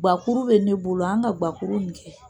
Guwa kuru bɛ ne bolo an ka guwa kuru in kɛ